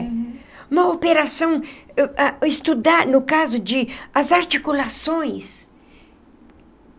Uma operação... Estudar, no caso de, as articulações.